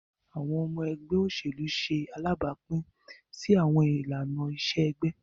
Awọn ọmọ ẹgbẹ oselu ṣe alabapin si awọn ilana-iṣe ẹgbẹ.